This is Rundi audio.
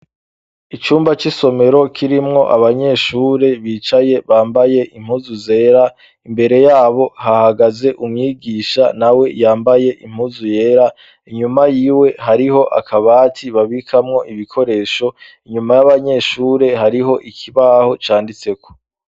Icumba c'isomero kirimwo abanyeshure bicaye bambaye impuzu zera, imbere yabo hahagaze umwigisha na we yambaye impuzu yera ,inyuma y'iwe hariho akabati babikamwo ibikoresho ,inyuma y'abanyeshure hariho ikibaho c,anditse ko.